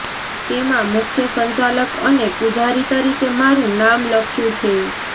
તેમાં મુખ્ય સંચાલક અને પુજારી તરીકે મારું નામ લખ્યું છે